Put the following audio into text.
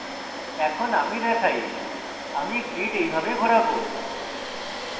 এখন আমি দেখাই আমি grid এইভাবে ঘোরাবো